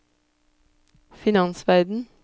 finansverden